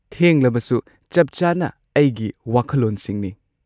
ꯊꯦꯡꯂꯕꯁꯨ, ꯆꯞ-ꯆꯥꯅ ꯑꯩꯒꯤ ꯋꯥꯈꯜꯂꯣꯟꯁꯤꯡꯅꯤ꯫